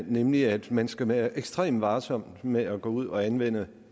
nemlig at man skal være ekstremt varsom med at gå ud og anvende